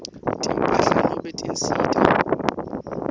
timphahla nobe tinsita